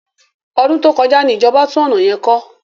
Ọdún tó kọjá ni ìjọba tún ọ̀nà yẹn kọ́.